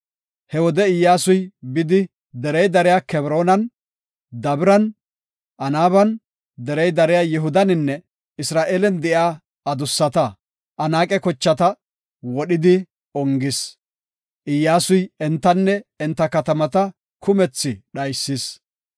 He wode Iyyasuy bidi derey dariya Kebroonan, Dabiran, Anaaban, derey dariya Yihudaninne Isra7eelen de7iya adusata, Anaaqe kochata wodhidi ongis. Iyyasuy entanne enta katamata kumethi dhaysis.